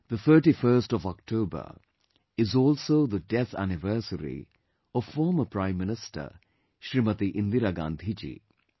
The 31st of October is also the death anniversary of former Prime Minister Smt Indira Gandhi Ji